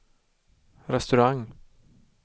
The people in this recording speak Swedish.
restaurang